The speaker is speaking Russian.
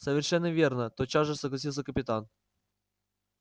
совершенно верно тотчас же согласился капитан